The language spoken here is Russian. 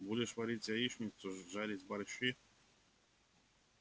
будешь варить яичницу жарить борщи